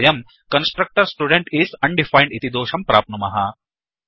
वयम् constructor student is undefined इति दोषं प्राप्नुमः